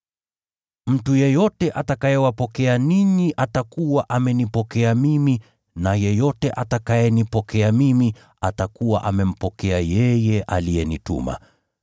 “Mtu yeyote atakayewapokea ninyi atakuwa amenipokea mimi, na yeyote atakayenipokea mimi atakuwa amempokea yeye aliyenituma.